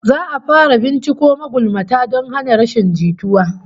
Za'a fara binciko magulmata don hana rashin jituwa